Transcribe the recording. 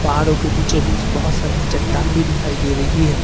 पहाड़ों के बीचो बीच बहुत सारी चट्टानें भी दिखाई दे रही हैं।